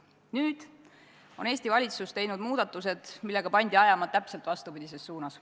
Nüüd tegi Eesti valitsus muudatused, millega pandi ajama täpselt vastupidises suunas.